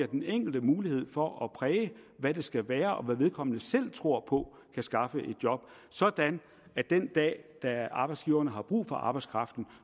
den enkelte mulighed for at præge hvad det skal være og hvad vedkommende selv tror på kan skaffe et job sådan at den dag da arbejdsgiverne har brug for arbejdskraften